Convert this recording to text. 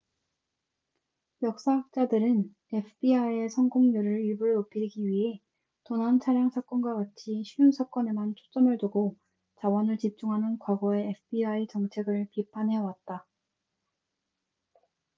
역사학자들은 fbi의 성공률을 일부러 높이기 위해 도난 차량 사건과 같이 쉬운 사건에만 초점을 두고 자원을 집중하는 과거의 fbi 정책을 비판해 왔다